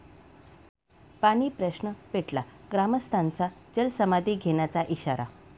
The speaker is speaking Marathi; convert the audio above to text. पाणीप्रश्न पेटला, ग्रामस्थांचा जलसमाधी घेण्याचा इशारा